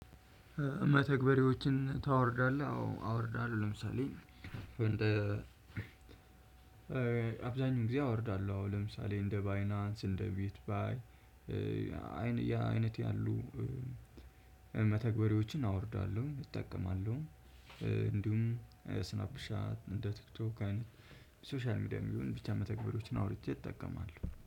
መተግበሪያዎችን ታወርዳለህ አዎ አወርዳለሁ። ለምሳሌ አብዛኛው ጊዜ አወርዳለሁ። አሁን ለምሳሌ እንደ ባይናንስ እንደ ቤት ባይ አይነት ያሉ መተግበሪያዎችን አወርዳለሁ እጠቀማለሁ። እንዲሁም ስናፕሻ እንደ ቲክቶክ አይነት ሶሻል ሚዲያም ይሁን ብቻ መተግበሮችን አውርጄ እጠቀማለሁ